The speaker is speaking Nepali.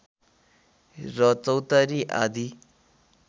र चौतारी आदी